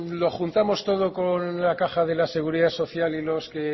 lo juntamos todo con la caja de la seguridad social y los que